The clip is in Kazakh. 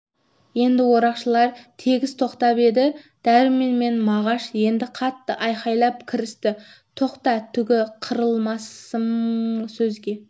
енді орақшылар тегіс тоқтап еді дәрмен мен мағаш енді қатты айқайлай кірісті тоқта түге қырыламысың сөзге